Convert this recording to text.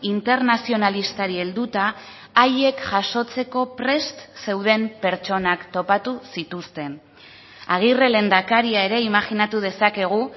internazionalistari helduta haiek jasotzeko prest zeuden pertsonak topatu zituzten agirre lehendakaria ere imajinatu dezakegu